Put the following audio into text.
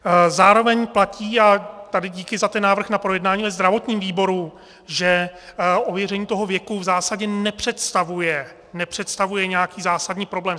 Zároveň platí, a tady díky za ten návrh na projednání ve zdravotním výboru, že ověření toho věku v zásadě nepředstavuje, nepředstavuje nějaký zásadní problém.